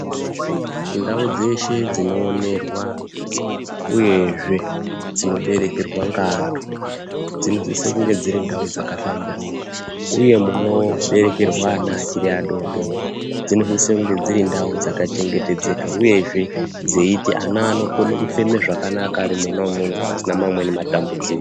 Ndau dzeshe dzinoonerwa uyezve dzinoberekerwa ngeanthu dzinosise kunge dziri ndau dzakahlamburuka uye munoberekerwa ana achiri adodori dzinosise kunge dziri ndau dzakachengetedzeka uyezve dzeiti ana anokone kufema zvakanaka arimona umwomwo pasina amweni matambudziko.